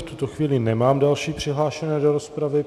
V tuto chvíli nemám další přihlášené do rozpravy.